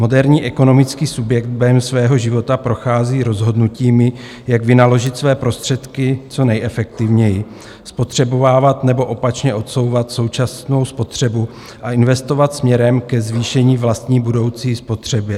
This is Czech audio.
Moderní ekonomický subjekt během svého života prochází rozhodnutími, jak vynaložit své prostředky co nejefektivněji, spotřebovávat nebo opačně odsouvat současnou spotřebu a investovat směrem ke zvýšení vlastní budoucí spotřeby.